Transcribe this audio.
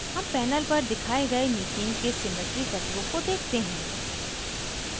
हम panel पर दिखाए गए methane के symmetry तत्वों को देखते हैं